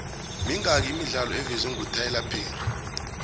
mingaki imidlalo evezwengutyler perry